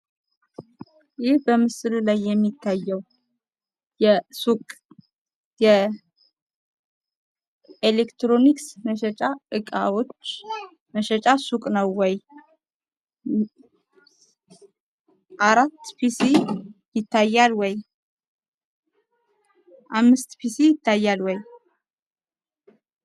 ይህ በምስሉ ላይ የምታዩት የኤሌክትሮኒክስ እቃ መሸጫ ነው? አምስት ኮምፒውተር ይታያሉ?